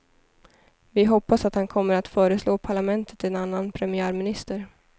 Vi hoppas att han kommer att föreslå parlamentet en annan premiärminister.